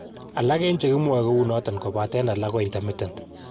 Alak en chekimwae kounoton kopaten alak ko intermittent.